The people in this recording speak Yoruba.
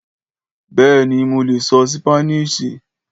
Béèni, mo lè sọ ṣípánísì